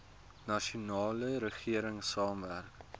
nasionale regering saamwerk